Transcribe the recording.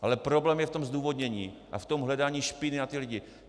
Ale problém je v tom zdůvodnění a v tom hledání špíny na ty lidi.